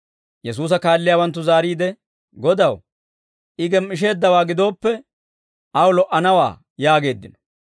Yesuusa kaalliyaawanttu zaariide, «Godaw, I gem"isheeddawaa gidooppe, aw lo"anawaa» yaageeddino.